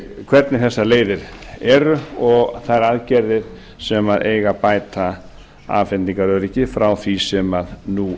hvernig þessar leiðir eru og þær aðgerðir sem eiga að bæta afhendingaröryggið frá því sem nú